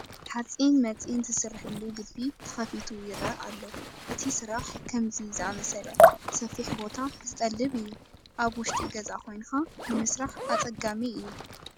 ሓፂን መፂን ዝስርሐሉ ግቢ ተኸፊቱ ይርአ ኣሎ፡፡ እቲ ስራሕ ከምዚ ዝኣምሰለ ሰፊሕ ቦታ ዝጠልብ እዩ፡፡ ኣብ ውሽጢ ገዛ ኮይንካ ንምስራሕ ኣፀጋሚ እዩ፡፡